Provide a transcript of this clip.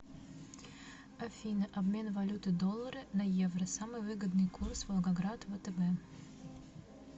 афина обмен валюты доллары на евро самый выгодный курс волгоград втб